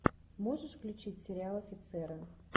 можешь включить сериал офицеры